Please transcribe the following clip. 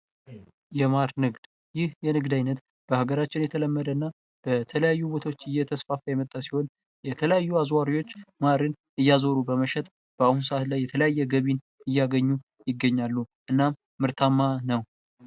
የማር ንግድ ይህ የንግድ ዓይነት በሀገራችን በተለያዩ ቦታዎች እየተስፋፋ የመጣ ሲሆን የተለያዩ አዙዋሪዎች ማር እያዞሩ በመሸጥ በአሁኑ ሰዓት የተለያየን ገቢ እያገኙ ይገኛሉ። እናም ምርታማ ነዉ።